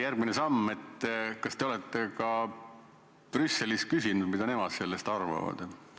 Järgmine samm: kas te olete ka Brüsselilt küsinud, mida nemad sellest arvavad?